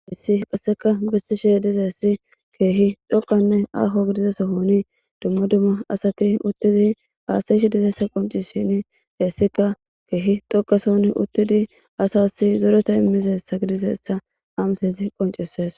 issi qasseka bissishe dizessi keehi dhoqanne aaho gidizasohoni dumma dumma asati uttidi aasayishe dizeessa qoncishin heessika keehi dokason uttidi asasi zoreta immizessa gidizeessa hamseezi qoncisees